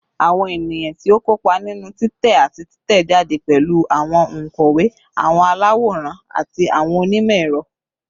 Awọn eniyan ti o kopa ninu titẹ ati titẹjade pẹlu awọn onkọwe, awọn alaworan, ati awọn onimọ-ẹrọ